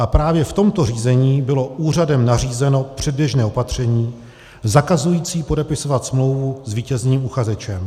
A právě v tomto řízení bylo úřadem nařízeno předběžné opatření zakazující podepisovat smlouvu s vítězným uchazečem.